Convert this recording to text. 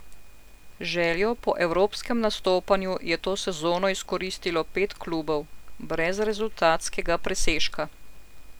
Željo po evropskem nastopanju je to sezono izkoristilo pet klubov, brez rezultatskega presežka.